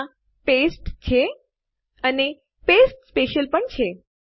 ત્યાં પાસ્તે છે અને પાસ્તે સ્પેશિયલ પણ છે